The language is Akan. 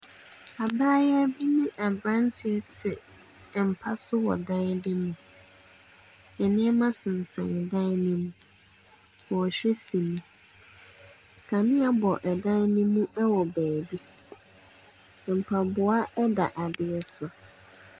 Abaayewa bi ne abranteɛ te mpa so wɔ dan bi mu. Nneɛma sensɛn dan ne mu. Wɔhwɛ sini. Kanea bɔ ɛdan ne mu ɛwɔ baabi. Mpaboa ɛda adeɛ so.